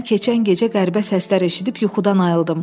“Mən keçən gecə qəribə səslər eşidib yuxudan ayıldım.